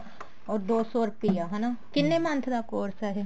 or ਦੋ ਸੋ ਰੁਪਿਆ ਹਨਾ ਕਿੰਨੇ month ਦਾ course ਹੈ